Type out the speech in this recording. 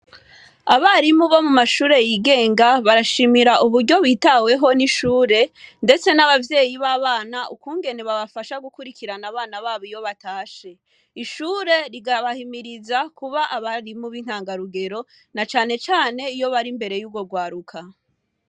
Abarimu bo mu mashure yigenga barashimira uburyo bitaweho n'ishure, ndetse n'abavyeyi b'abana ukungene babafasha gukurikirana abana babo iyo batashe. Ishure rigabahimiriza kuba abarimu b'intangarugero na cane cane iyo bari imbere y'urwo rwaruka.